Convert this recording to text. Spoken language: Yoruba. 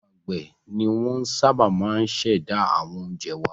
Àwọn àgbẹ̀ ni wọ́n sábà máa ń ṣẹ̀dá àwọn oúnjẹ wá.